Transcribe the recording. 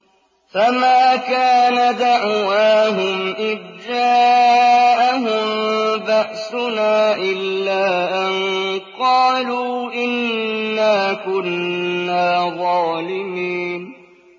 فَمَا كَانَ دَعْوَاهُمْ إِذْ جَاءَهُم بَأْسُنَا إِلَّا أَن قَالُوا إِنَّا كُنَّا ظَالِمِينَ